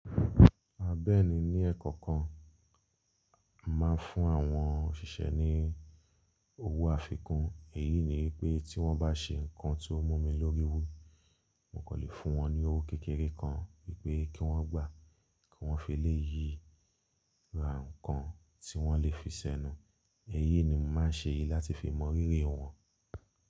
A bẹ́ẹ̀ni ni ẹekọ kan, a máa ń fún àwọn òṣìṣẹ́ ní owó àfikún, èyí ni wípé tí wọ́n bá ṣe nkan tí ó mú mi lórí wú, mo kan lè fún wọn ní owó kékeré kan wípé kí wọ́n gbà, kí wọ́n fi lè yí ra nkan tí wọ́n lè fi ṣẹnu, èyí ni mo máa ń ṣe láti fi mọ rírì wọn.